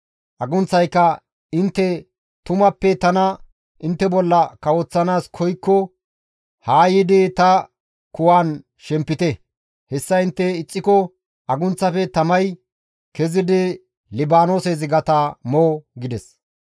Agunththayka, ‹Intte tumappe tana intte bolla kawoththanaas koykko haa yiidi ta kuwan shempite; hessa intte ixxiko agunththafe tamay kezidi Libaanoose zigata mo!› gides.